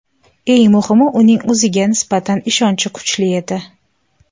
Eng muhimi, uning o‘ziga nisbatan ishonchi kuchli edi.